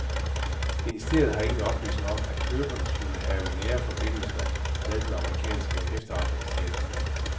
Ministeriet har ingen oplysninger om, at køberne skulle have nære forbindelser med den amerikanske efterretningstjeneste.